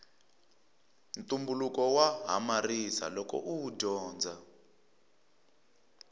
ntumbuluko wa hamarisa loko uwu dyondza